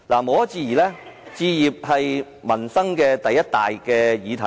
無可置疑，置業是民生的第一大議題。